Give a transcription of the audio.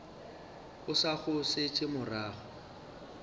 o sa go šetše morago